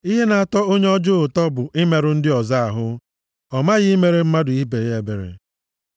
Ihe na-atọ onye ọjọọ ụtọ bụ imerụ ndị ọzọ ahụ; ọ maghị imere mmadụ ibe ya ebere.